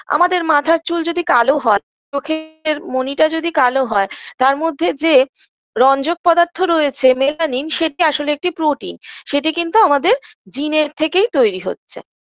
আমাদের মাথার চুল যদি কালো হয় তো চোখের মণিটা যদি কালো হয় তার মধ্যে যে রঞ্জক পদার্থ রয়েছে melanin সেটি আসলে একটি protein সেটি কিন্তু আমাদের জিনের থেকেই তৈরী হচ্ছে